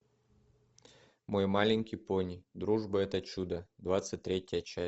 мой маленький пони дружба это чудо двадцать третья часть